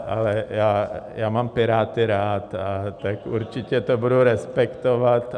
Ale já mám Piráty rád, tak určitě to budu respektovat.